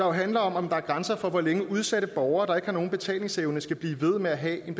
handler om om der er grænser for hvor længe udsatte borgere der ikke har nogen betalingsevne skal blive ved med at have en